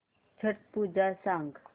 छट पूजा सांग